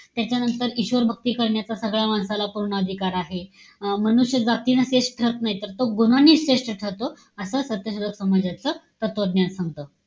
त्याच्यानंतर ईश्वर भक्ती करण्याचा सगळ्या माणसाला पूर्ण अधिकार आहे. अं मनुष्य भक्तीनं श्रेष्ठ ठरत नाही. तो गुणांनी श्रेष्ठ ठरतो. असं सत्यशोधक समाजाचं तत्वज्ञान सांगतं.